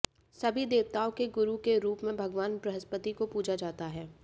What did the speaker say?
सभी देवताओं के गुरु के रूप में भगवान बृहस्पति को पूजा जाता है